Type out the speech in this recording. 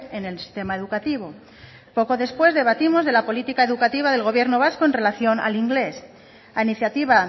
en el sistema educativo poco después debatimos de la política educativa del gobierno vasco en relación al inglés a iniciativa